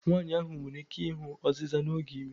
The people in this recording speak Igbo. Nwanyị ahụ nwere ike ịhụ ọzịza n'oge ime.